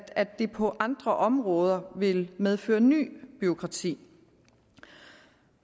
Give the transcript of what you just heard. at det på andre områder vil medføre nyt bureaukrati